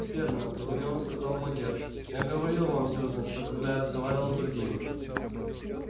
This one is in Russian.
верно удивлённо сказал богерт я говорил вам сьюзен что когда я разговаривал с другими